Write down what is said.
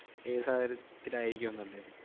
ഏത് സാഹചര്യത്തിലായിരിക്കും എന്നല്ലേ?